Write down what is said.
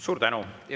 Suur tänu!